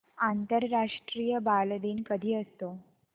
आंतरराष्ट्रीय बालदिन कधी असतो